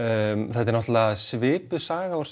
þetta er náttúrulega svipuð saga og